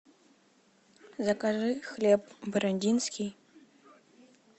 закажи хлеб бородинский